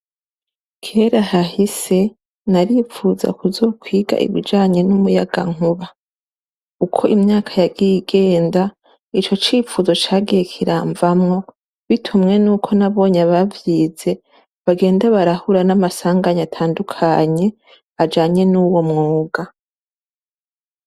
Kera hahise naripfuza kuzokwiga ibijanye nomiyagankuba uko imyaka yagiye igenda ico cifuzo cagiye kiramvamwo bitumye nuko abavyize bagenda barahura na masanganya atandukanye ajanye nuwomwuga.